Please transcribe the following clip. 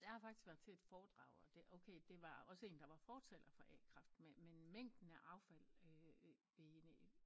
Jeg har faktisk været til et foredrag og det okay det var også en der var fortaler for a-kraft men mængden af affald øh bene